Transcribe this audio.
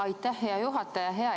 Aitäh, hea juhataja!